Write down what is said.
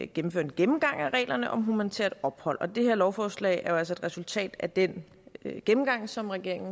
gennemføre en gennemgang af reglerne om humanitært ophold og det her lovforslag er et resultat af den gennemgang som regeringen